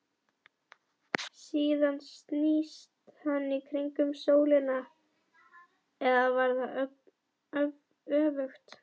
Síðan snýst hann í kringum sólina, eða var það öfugt?